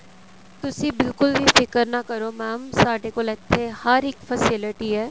ਤੁਸੀਂ ਬਿਲਕੁਲ ਵੀ ਫਿਕਰ ਨਾ ਕਰੋ mam ਸਾਡੇ ਕੋਲ ਇੱਥੇ ਹਰ ਇੱਕ facility ਹੈ